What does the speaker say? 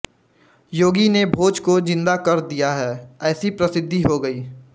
योगी ने भोज को जिन्दा कर दिया है ऐसी प्रसिद्धि हो गयी